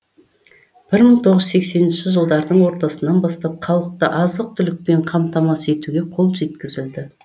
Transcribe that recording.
бір мың тоғыз жүз сексенінші жылдардың ортасынан бастап халықты азық түлікпен қамтамасыз етуге қол жеткізілді